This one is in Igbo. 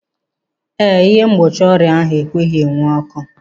Eh, ịhe mgbochi ọrịa ahụ ekweghị enwu ọkụ.